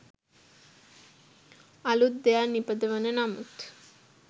අලූත් දෙයක් නිපදවන නමුත්